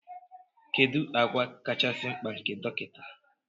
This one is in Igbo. Kedu àgwà kachasị mkpa nke dọkịta